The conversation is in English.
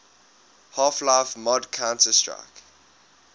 half life mod counter strike